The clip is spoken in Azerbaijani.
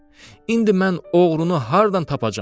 İndi mən oğrunu hardan tapacam?